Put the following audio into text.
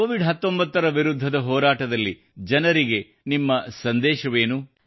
Covid 19 ರ ವಿರುದ್ಧದ ಹೋರಾಟದಲ್ಲಿ ಜನರಿಗೆ ನಿಮ್ಮ ಸಂದೇಶವೇನು